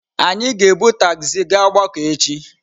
Anyị ga-ebu tagzi gaa ogbako echi.